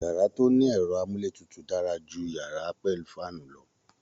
Yàrá to ni ẹ̀rọ amúletutù dara ju yàrá pẹ̀lú faanu lọ